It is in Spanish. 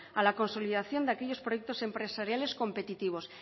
a la consolidación de aquellos proyectos empresariales competitivos